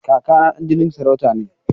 Kaka na ɗan jinin sarauta ne.